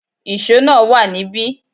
Íṣo náà wá níbi